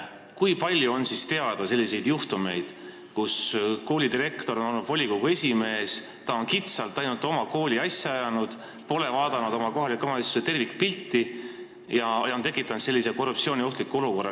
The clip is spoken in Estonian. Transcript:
Kui palju on teada selliseid juhtumeid, kui koolidirektor on olnud volikogu esimees, on kitsalt ainult oma kooli asja ajanud, pole vaadanud kohaliku omavalitsuse tervikpilti ja on tekitanud korruptsiooniohtliku olukorra?